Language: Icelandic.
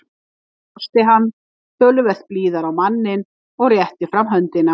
Nú brosti hann, töluvert blíðari á manninn, og rétti fram höndina.